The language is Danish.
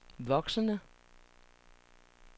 voksende